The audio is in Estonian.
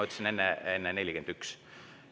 Enne ma ütlesin, et 41.